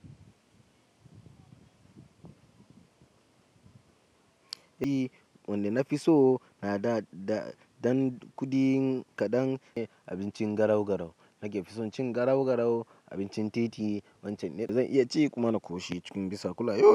Eh, wanda na fi so a da dan kuɗi kaɗan ne, abincin garau-garau. Nake fi son cin garau-garau, abincin titi. Wancan ne da zan iya ci kuma na ƙoshi cikin bisa kullayau.